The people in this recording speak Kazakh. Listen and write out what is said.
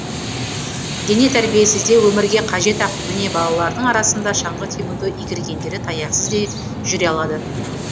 дене тәрбиесі де өмірге қажет ақ міне балалардың арасында шаңғы тебуді игергендері таяқсыз да жүре алады